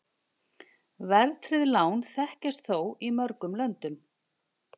Verðtryggð lán þekkjast þó í mörgum löndum.